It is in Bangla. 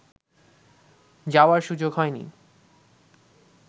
যাওয়ার সুযোগ হয়নি